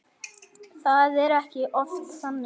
Er það ekki oft þannig?